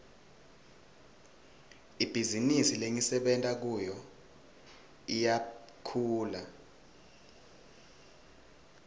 ibhizinisi lengisebenta kiyo iyakhula